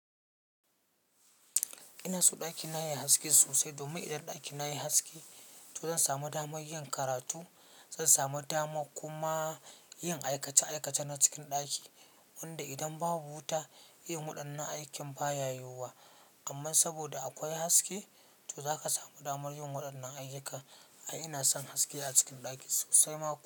Ina so ɗakina yayi haske sosai domin idan ɗakina yayi haske, to zan samu dama yin karatu, zan samu dama kuma yin aikace-aikace na cikin ɗaki. Wanda idan babu wuta, yin waɗannan aikin ba ya yiwuwa. Amma saboda akwai haske, to za ka samu damar yin waɗannan ayyuka. Ai ina son haske a cikin ɗaki sosai ma kuwa.